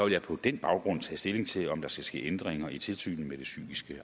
jeg på den baggrund tage stilling til om der skal ske ændringer i tilsynet med det psykiske